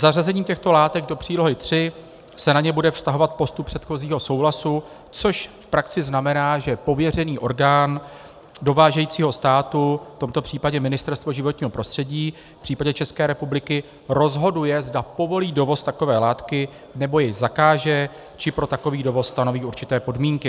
Zařazením těchto látek do přílohy III se na ně bude vztahovat postup předchozího souhlasu, což v praxi znamená, že pověřený orgán dovážejícího státu, v tomto případě Ministerstvo životního prostředí v případě České republiky, rozhoduje, zda povolí dovoz takové látky nebo jej zakáže či pro takový dovoz stanoví určité podmínky.